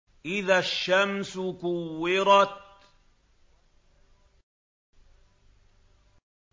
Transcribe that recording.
إِذَا الشَّمْسُ كُوِّرَتْ